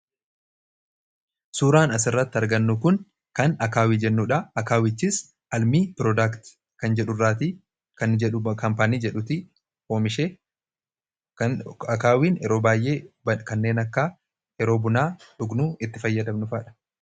Suuraan asirratti argannu kun kan akaawii jennuudha. akaawichis almii piroodaakt kan jedhu irraatii kan kaampaanii jedhuti oomishee akaawiin yeroo baay'ee kanneen akka yeroo buna dhugnu itti fayyadamnudha.